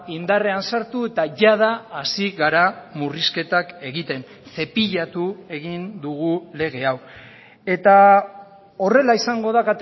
indarrean sartu eta jada hasi gara murrizketak egiten zepilatu egin dugu lege hau eta horrela izango da